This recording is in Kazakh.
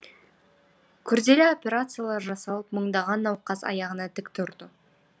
күрделі операциялар жасалып мыңдаған науқас аяғына тік тұрды